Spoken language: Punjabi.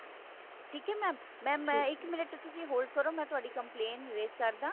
ਠੀਕ ਹੈ mam ਇੱਕ ਮਿੰਟ ਤੁਸੀਂ hold ਕਰੋ ਮੈਂ ਤੁਹਾਡੀ complaint raise ਕਰ ਦਵਾਂ